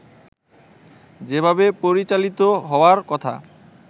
যেভাবে পরিচালিত হওয়ার কথা